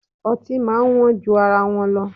Ọtí máa ń wọ́n ju ara wọn lọ